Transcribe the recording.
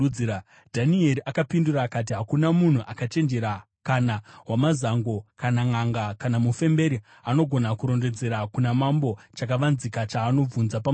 Dhanieri akapindura akati, “Hakuna munhu akachenjera, kana wamazango, kana nʼanga kana mufemberi angagona kurondedzera kuna mambo chakavanzika chaanobvunza pamusoro pacho